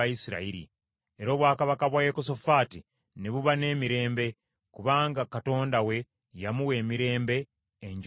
Era obwakabaka bwa Yekosafaati ne buba n’emirembe, kubanga Katonda we yamuwa emirembe enjuuyi zonna.